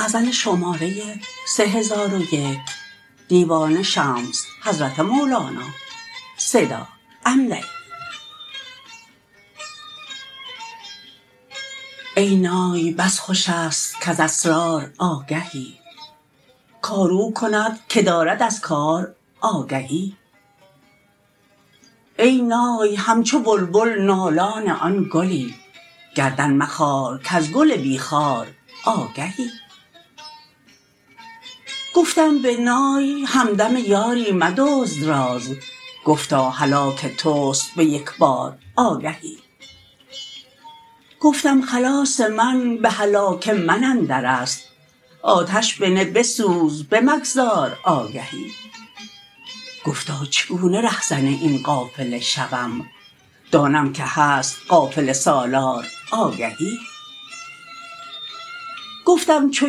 ای نای بس خوش است کز اسرار آگهی کار او کند که دارد از کار آگهی ای نای همچو بلبل نالان آن گلی گردن مخار کز گل بی خار آگهی گفتم به نای همدم یاری مدزد راز گفتا هلاک توست به یک بار آگهی گفتم خلاص من به هلاک من اندر است آتش بنه بسوز بمگذار آگهی گفتا چگونه رهزن این قافله شوم دانم که هست قافله سالار آگهی گفتم چو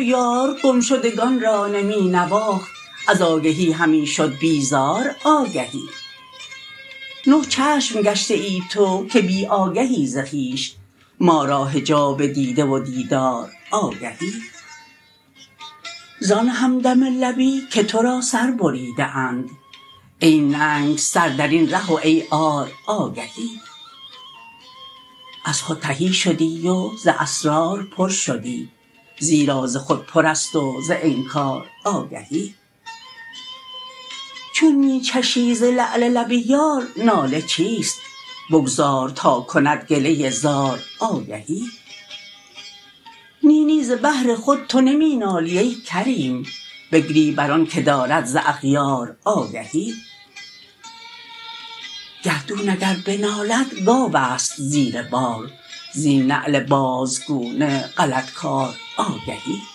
یار گم شدگان را نمی نواخت از آگهی همی شد بیزار آگهی نه چشم گشته ای تو که بی آگهی ز خویش ما را حجاب دیده و دیدار آگهی زان همدم لبی که تو را سر بریده اند ای ننگ سر در این ره و ای عار آگهی از خود تهی شدی و ز اسرار پر شدی زیرا ز خودپرست و ز انکار آگهی چون می چشی ز لعل لب یار ناله چیست بگذار تا کند گله ای زار آگهی نی نی ز بهر خود تو نمی نالی ای کریم بگری بر آنک دارد ز اغیار آگهی گردون اگر بنالد گاو است زیر بار زین نعل بازگونه غلط کار آگهی